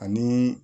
Ani